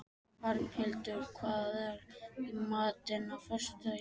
Arnhildur, hvað er í matinn á föstudaginn?